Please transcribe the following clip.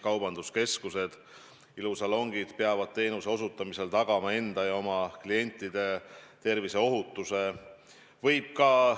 Kaubanduskeskused ja ilusalongid peavad teenuse osutamisel tagama ohutuse enda ja oma klientide tervisele.